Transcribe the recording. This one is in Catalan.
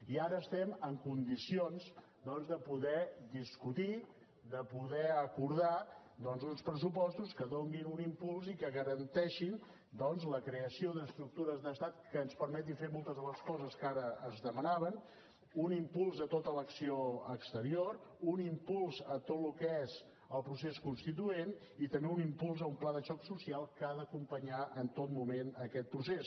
i ara estem en condicions doncs de poder discutir de poder acordar uns pressupostos que donin un impuls i que garanteixin la creació d’estructures d’estat que ens permetin fer moltes de les coses que ara es demanaven un impuls a tota l’acció exterior un impuls a tot el que és el procés constituent i també un impuls a un pla de xoc social que ha d’acompanyar en tot moment aquest procés